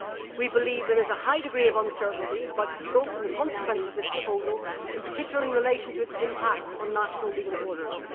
We believe there is a high degree of uncertainty about the scope and the consequences of this proposal in particular in relation to its impact on national legal orders.'